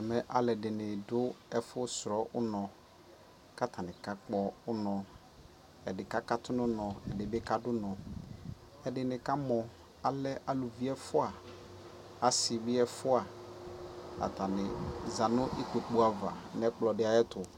ɛmɛ alʋɛdini dʋ ɛƒʋ srɔ ʋnɔ kʋ atani ka kpɔ ʋnɔ, ɛdi kakatʋ nʋ ʋnɔ, ɛdibi kadʋ ʋnɔ, ɛdini kamɔ alɛ alʋvi ɛƒʋa, asii bi ɛƒʋa, atani zanʋ ikpɔkʋ aɣa nʋ ɛkplɔ di ayɛtʋ